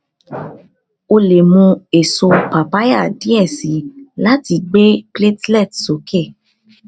o le mu eso papaya diẹ sii lati gbe platelet soke